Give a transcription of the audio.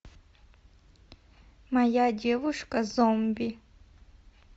моя девушка зомби